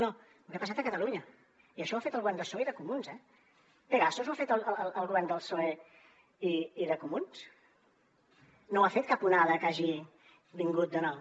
no no el que ha passat a catalunya i això ho ha fet el govern de psoe i de comuns eh pegasus ho ha fet el govern del psoe i de comuns no ho ha fet cap onada que hagi vingut de nou